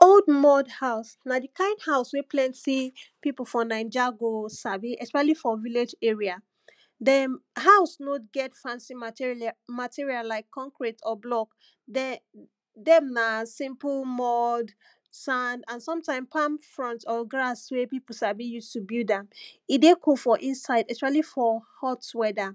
old mud house, na the kind house wey plenty, pipu for naija go sabi, especially for village area. dem, house no get fancy matirlia, material like concrete or block. de, dem na simple mud, sand, and sometime palm frond, or grass wey pipu sabi use to build am. e dey cool for inside, especially for hot weather.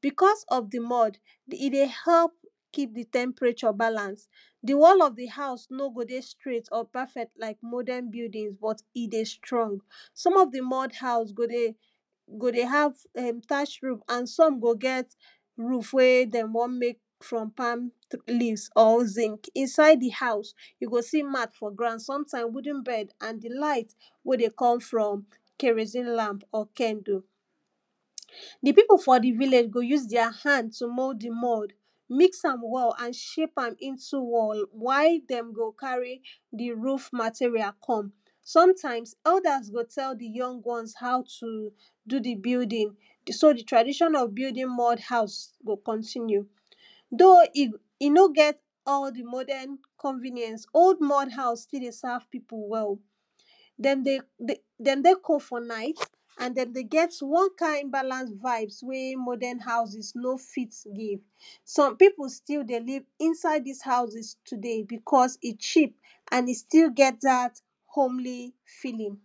because of the mud, e dey help keep the temperature balance the one of the house no go dey straight or perfect like modern buildings but, e dey strong. some of the mud house go dey, go dey have err detach roof and some go get, roof wey dem wan make from palm tri leave, or zinc inside the house you go see mat for ground, sometimes wooden bed and the light, wey dey come from kerosene lamp or candle. the pipu for the village go use their hand to mold the mud, mix am well and shape am into wall. while dem go carry the roof material come. sometimes, elders go tell the young ones how to, do the building. so the tradition of building mud house go continue. though e, e no get all the modern convenience, old mud house still dey serve pipu well. dem dey dey dem dey cold for night, and den dey get one kind balance vibes wey modern houses no fit give. some pipu still dey live inside these houses today because e cheap, and e still get dat homely feeling.